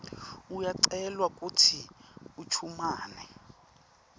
uyacelwa kutsi uchumane